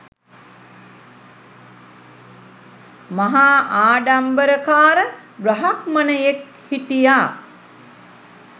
මහා ආඩම්බරකාර බ්‍රාහ්මණයෙක් හිටියා.